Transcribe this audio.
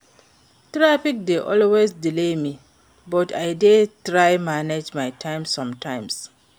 Traffic dey always delay me, but I dey try manage my time somtimes.